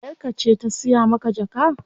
Yayar ka ce ta siya maka jaka?